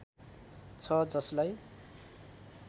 छ जसलाई